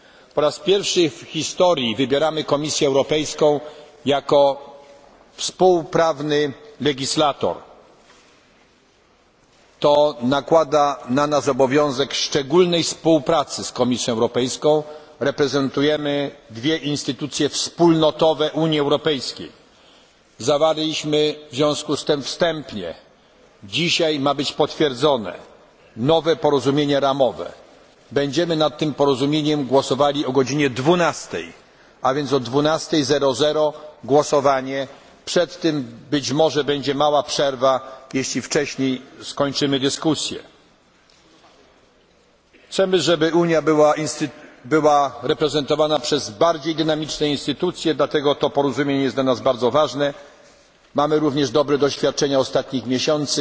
Po raz pierwszy w historii wybieramy Komisję Europejską jako współprawny legislator. To nakłada na nas obowiązek szczególnej współpracy z Komisją Europejską. Reprezentujemy dwie instytucje wspólnotowe Unii Europejskiej. Zawarliśmy w związku z tym wstępnie nowe porozumienie ramowe dzisiaj ma być potwierdzone. Będziemy nad tym porozumieniem głosowali o godz. 12.00. A więc od 12.00 głosowanie. Przed tym, być może, będzie mała przerwa, jeśli wcześniej skończymy dyskusję. Chcemy, żeby Unia była reprezentowana przez bardziej dynamiczne instytucje, dlatego to porozumienie jest dla nas bardzo ważne. Mamy również dobre doświadczenia ostatnich